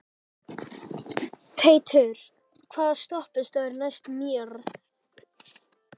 Teitur, hvaða stoppistöð er næst mér?